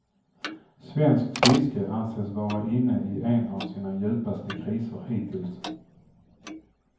Svenskt fiske anses vara inne i en av sina djupaste kriser hittills.